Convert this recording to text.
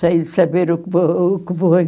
Sem saber o que vou o que vou